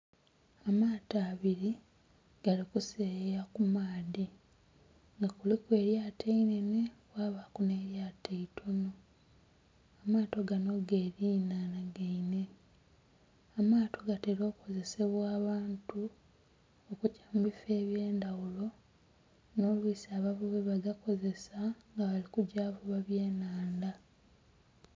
Amaato abiri gali ku seyeya ku maadhi nga kuliku eryaato einenhe kwabaku ne'ryaato eitono, amaato ganho gerinanhana gaine. Amaato gatera okozessbwa abantu okugya mu bifo ebye ndhaghulo nho lwisi abavubi ba gakozesa nga bali kugya okuvuba ebye nhandha.